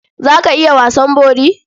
Za ka iya wasan bori?